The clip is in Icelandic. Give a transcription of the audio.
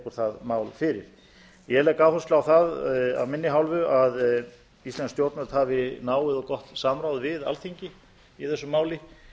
tekur það fyrir ég legg áherslu á af minni hálfu að íslensk stjórnvöld hafi náið og gott samráð við alþingi í þessu máli